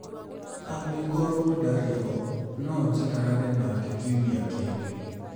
Angĩkorũo ndarĩ ho, no njikarage nake kiumia kĩngĩ.